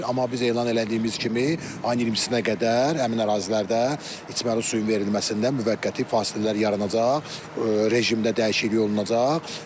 Amma biz elan elədiyimiz kimi, ayın 20-sinə qədər həmin ərazilərdə içməli suyun verilməsində müvəqqəti fasilələr yaranacaq rejimdə dəyişiklik olunacaq.